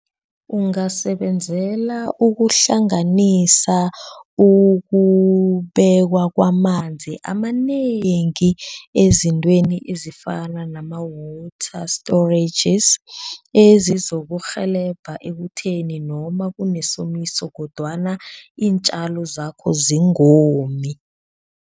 Ungasebenzela ukuhlanganisa ukubekwa kwamanzi amanengi ezintweni ezifana nama-water storages ezizokurhelebha ekutheni noma kunesomiso kodwana iintjalo zakho zingomi.